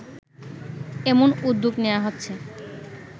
এমন উদ্যোগ নেওয়া হচ্ছে